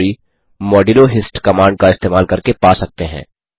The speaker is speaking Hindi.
हिस्ट्री मोड्यूलो हिस्ट कमांड का इस्तेमाल करके पा सकते हैं